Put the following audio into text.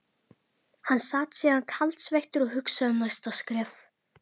Hann sat síðan kaldsveittur og hugsaði um næsta skref.